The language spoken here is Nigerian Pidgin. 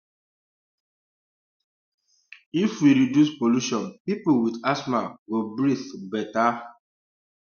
um if we reduce pollution people with asthma go breathe better